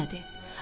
Yemədi.